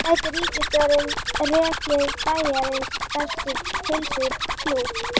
En gæti ríkisstjórnin rekið Bæjarins bestu pylsur í plús?